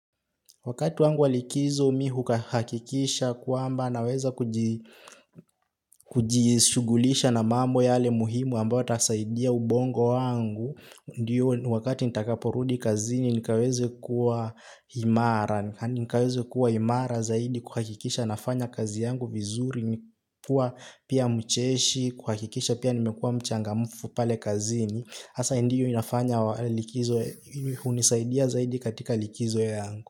Wakati wangu walikizo mi hukahakikisha kwamba naweza kujishughulisha na mambo yale muhimu amba watasaidia ubongo wangu. Ndiyo wakati nitakaporudi kazini nikaweze kuwa imara. Nikaweze kuwa imara zaidi kuhakikisha nafanya kazi yangu vizuri. Nikuwa pia mcheshi kuhakikisha pia nimekuwa mchangamufu pale kazini. Asa ndiyo inafanya unisaidia zaidi katika likizo yangu.